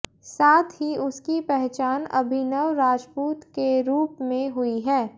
साथ ही उसकी पहचान अभिनव राजपूत के रूप में हुई है